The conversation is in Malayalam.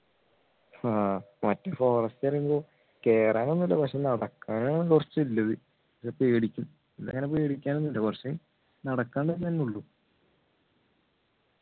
ആഹ് മറ്റേ forest പറയുമ്പോ കേറാനൊന്നും ഇല്ല പക്ഷെ നടക്കാനാണ് കുറച്ചു ഇല്ലത് പേടിക്കും ഇതങ്ങനെ പേടിക്കാനൊന്നും ഇല്ല പക്ഷെ നടക്കാ ന്നല്ലേ ഉള്ളു